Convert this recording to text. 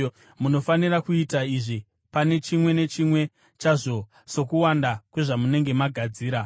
Munofanira kuita izvi pane chimwe nechimwe chazvo, sokuwanda kwezvamunenge magadzira.